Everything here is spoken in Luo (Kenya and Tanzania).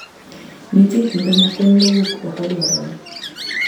Nitie kinde ma kony ma wuok oko dwarore